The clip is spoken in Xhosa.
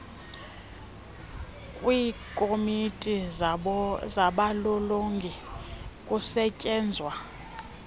kwiikomiti zabalolongi kusetyenzwa